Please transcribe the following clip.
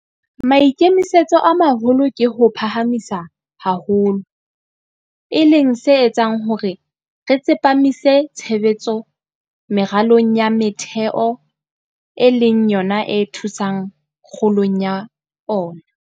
Maikemisetso a maholo ke ho o phahamisa haholo, e leng se etsang hore re tsepamise tshebetso meralong ya metheo e leng yona e thusang kgolong ya ona.